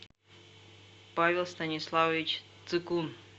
павел станиславович цикун